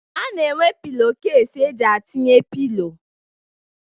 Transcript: A na-enwe pilo kesi e ji atinye pilo.